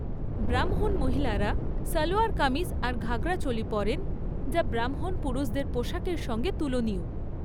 ব্রাহ্মণ মহিলারা সালোয়ার কামিজ আর ঘাগরা চোলি পরেন, যা ব্রাহ্মণ পুরুষদের পোশাকের সঙ্গে তুলনীয়।